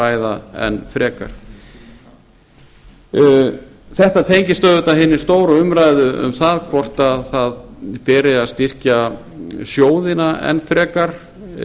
ræða enn frekar þetta tengist auðvitað hinni stóru umræðu um það hvort styrkja beri sjóðina enn frekar